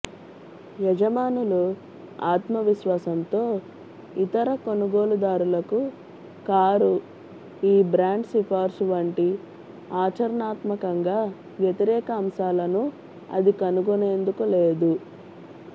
యజమానులు ఆత్మవిశ్వాసంతో ఇతర కొనుగోలుదారులకు కారు ఈ బ్రాండ్ సిఫార్సు వంటి ఆచరణాత్మకంగా వ్యతిరేక అంశాలను అది కనుగొనేందుకు లేదు